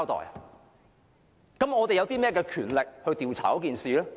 那麼我們有甚麼權力調查事件？